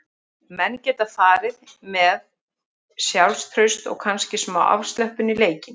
Menn geta farið með með sjálfstraust og kannski smá afslöppun í leikinn.